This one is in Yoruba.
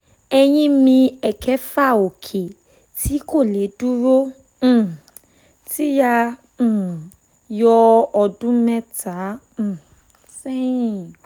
eyín mi ẹ̀kẹfà òkè tí kò lè dúró um tí a um yọ ọdún mẹ́ta um sẹ́yìn